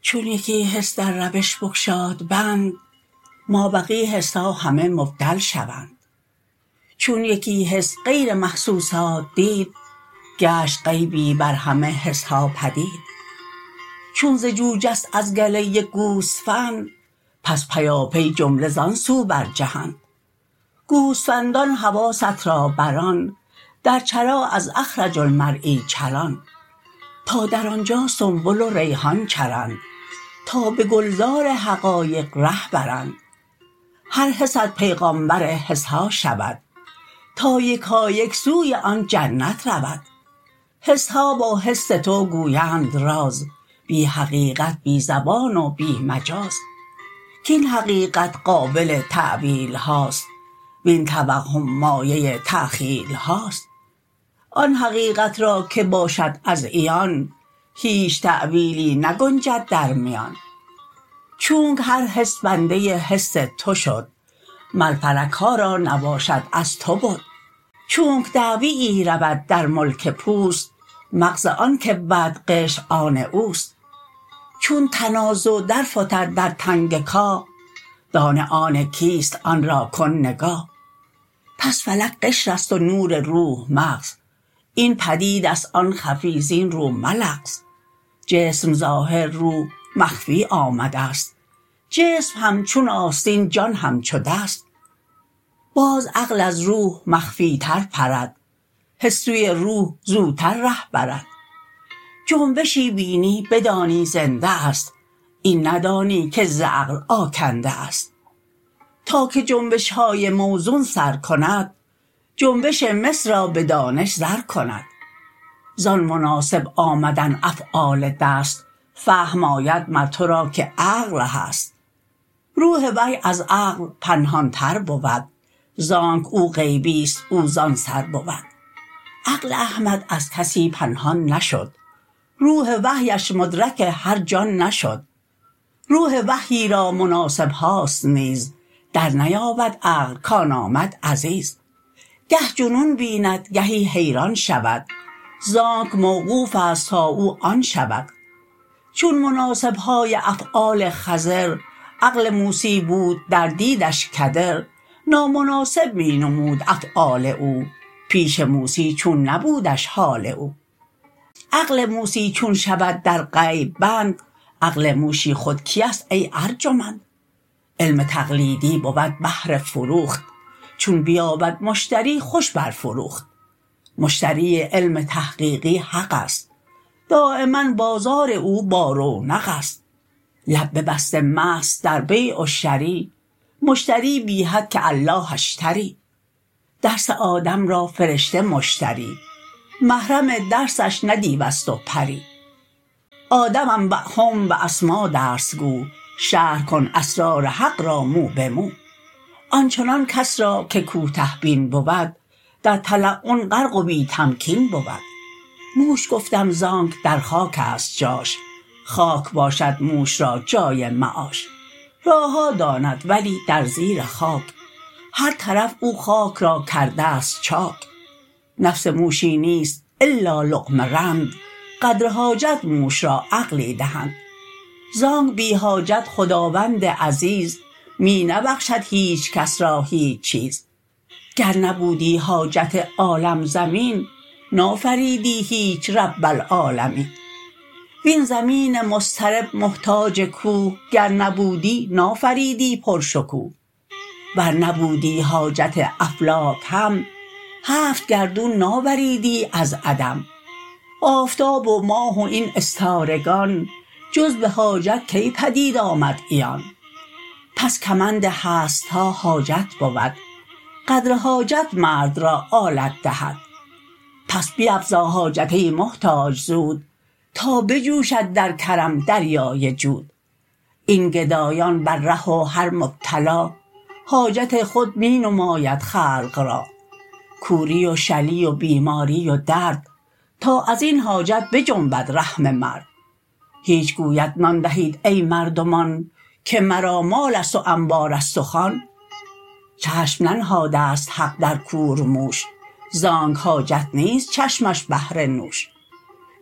چون یکی حس در روش بگشاد بند ما بقی حسها همه مبدل شوند چون یکی حس غیر محسوسات دید گشت غیبی بر همه حسها پدید چون ز جو جست از گله یک گوسفند پس پیاپی جمله زان سو برجهند گوسفندان حواست را بران در چرا از اخرج المرعی چران تا در آنجا سنبل و ریحان چرند تا به گلزار حقایق ره برند هر حست پیغامبر حسها شود تا یکایک سوی آن جنت رود حسها با حس تو گویند راز بی حقیقت بی زبان و بی مجاز کین حقیقت قابل تاویلهاست وین توهم مایه تخییلهاست آن حقیقت را که باشد از عیان هیچ تاویلی نگنجد در میان چونک هر حس بنده حس تو شد مر فلکها را نباشد از تو بد چونک دعویی رود در ملک پوست مغز آن کی بود قشر آن اوست چون تنازع در فتد در تنگ کاه دانه آن کیست آن را کن نگاه پس فلک قشرست و نور روح مغز این پدیدست آن خفی زین رو ملغز جسم ظاهر روح مخفی آمدست جسم همچون آستین جان همچو دست باز عقل از روح مخفی تر پرد حس سوی روح زوتر ره برد جنبشی بینی بدانی زنده است این ندانی که ز عقل آکنده است تا که جنبشهای موزون سر کند جنبش مس را به دانش زر کند زان مناسب آمدن افعال دست فهم آید مر تو را که عقل هست روح وحی از عقل پنهان تر بود زانک او غیبیست او زان سر بود عقل احمد از کسی پنهان نشد روح وحیش مدرک هر جان نشد روح وحیی را مناسبهاست نیز در نیابد عقل کان آمد عزیز گه جنون بیند گهی حیران شود زانک موقوفست تا او آن شود چون مناسبهای افعال خضر عقل موسی بود در دیدش کدر نامناسب می نمود افعال او پیش موسی چون نبودش حال او عقل موسی چون شود در غیب بند عقل موشی خود کیست ای ارجمند علم تقلیدی بود بهر فروخت چون بیابد مشتری خوش بر فروخت مشتری علم تحقیقی حقست دایما بازار او با رونقست لب ببسته مست در بیع و شری مشتری بی حد که الله اشتری درس آدم را فرشته مشتری محرم درسش نه دیوست و پری آدم انبیهم باسما درس گو شرح کن اسرار حق را مو به مو آنچنان کس را که کوته بین بود در تلون غرق و بی تمکین بود موش گفتم زانک در خاکست جاش خاک باشد موش را جای معاش راهها داند ولی در زیر خاک هر طرف او خاک را کردست چاک نفس موشی نیست الا لقمه رند قدر حاجت موش را عقلی دهند زانک بی حاجت خداوند عزیز می نبخشد هیچ کس را هیچ چیز گر نبودی حاجت عالم زمین نافریدی هیچ رب العالمین وین زمین مضطرب محتاج کوه گر نبودی نافریدی پر شکوه ور نبودی حاجت افلاک هم هفت گردون ناوریدی از عدم آفتاب و ماه و این استارگان جز به حاجت کی پدید آمد عیان پس کمند هستها حاجت بود قدر حاجت مرد را آلت دهد پس بیفزا حاجت ای محتاج زود تا بجوشد در کرم دریای جود این گدایان بر ره و هر مبتلا حاجت خود می نماید خلق را کوری و شلی و بیماری و درد تا ازین حاجت بجنبد رحم مرد هیچ گوید نان دهید ای مردمان که مرا مالست و انبارست و خوان چشم ننهادست حق در کورموش زانک حاجت نیست چشمش بهر نوش